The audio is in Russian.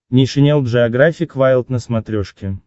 нейшенел джеографик вайлд на смотрешке